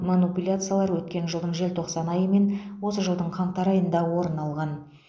манипуляциялар өткен жылдың желтоқсан айы мен осы жылдың қаңтар айында орын алған